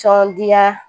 Tɔndenya